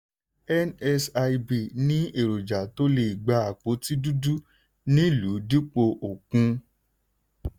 nsib ní erojà tó lè gba àpótí dudu nílùú dípò òkun.